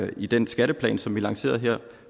vi i den skatteplan som vi lancerede